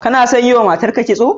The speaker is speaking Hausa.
Kana son a yiwa matarka kitso?